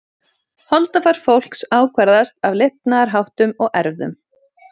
Holdafar fólks ákvarðast af lifnaðarháttum og erfðum.